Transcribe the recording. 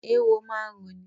Eéwo máa ń roni.